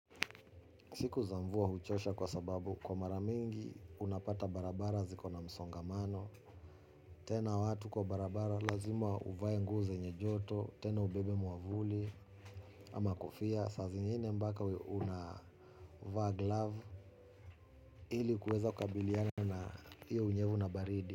Siku za mvua huchosha kwa sababu kwa mara mingi unapata barabara zikona msongamano. Tena watu kwa barabara lazima uvae nguo zenye joto. Tena ubebe mwavuli ama kofia. Saa zingine mpaka unavaa glove ili kuweza kukabilia na hiyo unyevu na baridi.